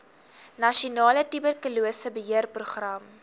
nasionale tuberkulose beheerprogram